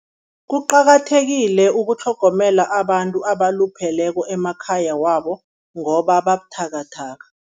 Kuqakathekile ukutlhogomela abantu abalupheleko emakhaya wabo ngoba babuthakathaka.